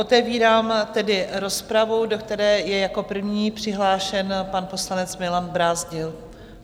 Otevírám tedy rozpravu, do které je jako první přihlášen pan poslanec Milan Brázdil.